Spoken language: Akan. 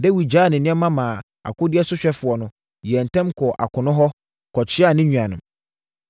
Dawid gyaa ne nneɛma maa akodeɛ sohwɛfoɔ no, yɛɛ ntɛm kɔɔ akono hɔ kɔkyeaa ne nuanom.